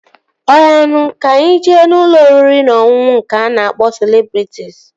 Ọya na, ka anyị jee ụlọ oriri na ọṅụṅụ nke a na-akpọ Celebrịtịs